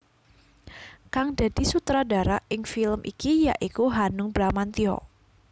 Kang dadi sutradara ing film iki ya iku Hanung Bramantya